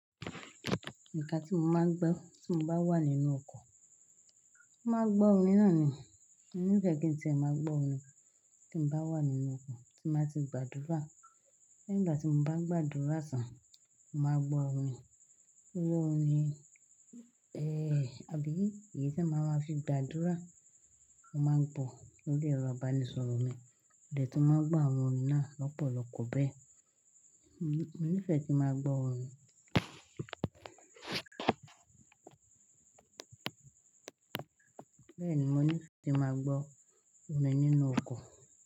Nǹkan tí mo máa ń gbọ́ tí mo bá wà nínú ọkọ̀, máa gbọ́ orin náà ni. Mo nífẹ̀ẹ́ kí n ti ẹ̀ mọ́ gbọ́ orin tí mo bá wà nínú ọkọ̀ tí báa ti gbàdúrà. Lẹ́yìn ìgbà tí mo bá ń gbàdúrà sàn, mo màá gbọ́ orin. Irú orin, ẹ́, àbí ìyí tí màá ma fi gbàdúrà, màá gbọ̀ lori ero iba ní sọ̀rọ̀ mi. Ìdí tí mo máa gbọ́ àwọn orin náà lọ́pọ̀lọpọ̀ bẹ́ẹ̀, mo nífẹ̀ẹ́ kí n máa gbọ́ orin. Bẹ́ẹ̀ni, mo nífẹ̀ẹ́ kí n máa gbọ́ orin nínú ọkọ̀